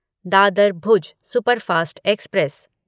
Dadar Bhuj superfast express